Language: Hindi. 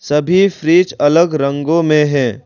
सभी फ्रिज अलग रंगों में है।